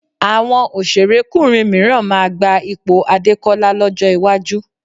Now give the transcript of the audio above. Àwọn òṣèrékùnrin mìíràn máa gba ipò Adékọ́lá lọ́jọ́ iwájú